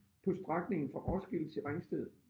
På strækningen fra Roskilde til Ringsted